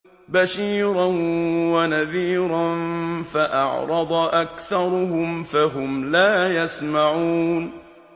بَشِيرًا وَنَذِيرًا فَأَعْرَضَ أَكْثَرُهُمْ فَهُمْ لَا يَسْمَعُونَ